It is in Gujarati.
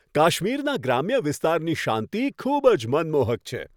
કાશ્મીરના ગ્રામ્ય વિસ્તારની શાંતિ ખૂબ જ મનમોહક છે.